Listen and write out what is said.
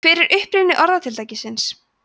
hver er uppruni orðatiltækisins